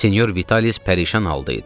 Senyor Vitalis pərişan halda idi.